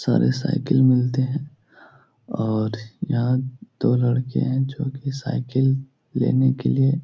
सारे साइकिल मिलते हैं। और यहाँ दो लड़के हैं जो कि साइकिल लेने के लिये --